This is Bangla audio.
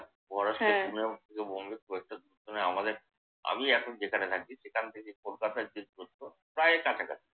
মহারাষ্ট্র থেকে পুনে বা বম্বে খুব একটা দূরে নয়, আমাদের আমি এখন যেখানে থাকি সেখান থেকে কলকাতার যে দুরত্ব প্রায় কাছাকাছি।